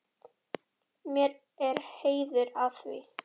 Mér er heiður að því.